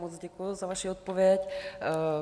Moc děkuji za vaši odpověď.